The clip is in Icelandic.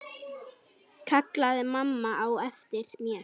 kallaði mamma á eftir mér.